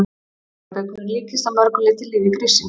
Sparibaukurinn líkist að mörg leyti lífi gríssins.